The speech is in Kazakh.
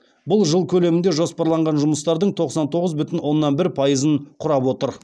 бұл жыл көлемінде жоспарланған жұмыстардың тоқсан тоғыз бүтін оннан бір пайызын құрап отыр